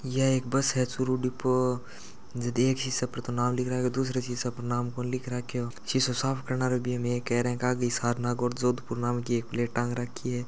यह एक बस है चूरू डीपो देख दूसरे शीशे पर नाम कोनी लिख राखयो शिशो साफ करनारो भी एमे एक है इके के आगे हिसार नागौर जोधपुर नाम की एक प्लेट टांग रखी है।